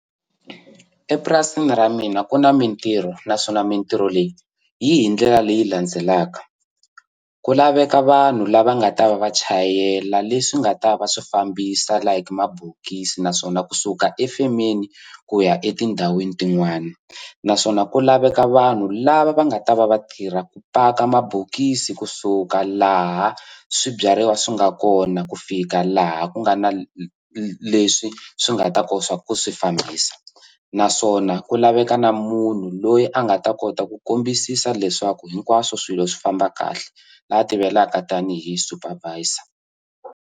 Epurasini ra mina ku na mintirho naswona mintirho leyi yi hi ndlela leyi landzelaka ku laveka vanhu lava nga ta va va chayela leswi nga ta va swi fambisa like mabokisi naswona kusuka efemeni ku ya etindhawini tin'wani naswona ku laveka vanhu lava va nga ta va vatirha ku paka mabokisi kusuka laha swibyariwa swi nga kona ku fika laha ku nga na leswi swi nga ta swa ku swi fambisa naswona ku laveka na munhu loyi a nga ta kota ku kombisisa leswaku hinkwaswo swilo swi famba kahle laha tivekaka tanihi super visa.